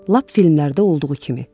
Lap filmlərdə olduğu kimi.